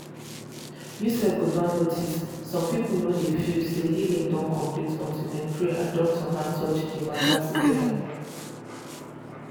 you sef go don notice some people no dey feel say healing don complete until dem pray and doctor hand touch the matter together.